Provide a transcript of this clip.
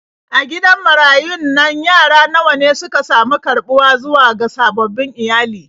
A gidan marayun nan yara nawa ne suka sami karɓuwa zuwa ga sababbin iyali.